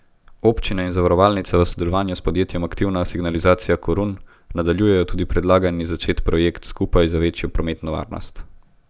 Občine in zavarovalnica v sodelovanju s podjetjem Aktivna signalizacija Korun nadaljujejo tudi predlani začet projekt Skupaj za večjo prometno varnost.